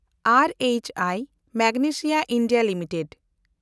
and H I Magnesita India limited